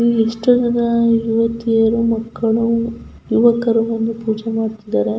ಇಲ್ಲಿ ಇಷ್ಟೊಂದು ಜನ ಯುವತಿಯರು ಮಕ್ಕಳು ಯುವಕರು ಬಂದು ಪೂಜೆ ಮಾಡ್ ತಿದ್ದಾರೆ --